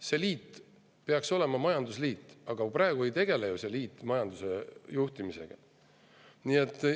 See liit peaks olema majandusliit, aga praegu ta ju majanduse juhtimisega ei tegele.